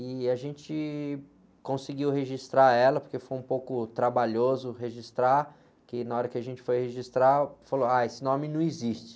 E a gente conseguiu registrar ela, porque foi um pouco trabalhoso registrar, que na hora que a gente foi registrar, falou, ah, esse nome não existe.